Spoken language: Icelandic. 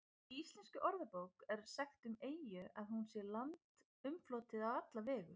Í Íslenskri orðabók er sagt um eyju að hún sé land umflotið á alla vegu.